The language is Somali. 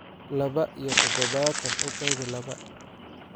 Laba iyo toddobaatan u qaybi laba